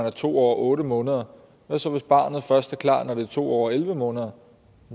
er to år og otte måneder hvad så hvis barnet først er klar når det er to år og elleve måneder